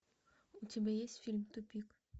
у тебя есть фильм тупик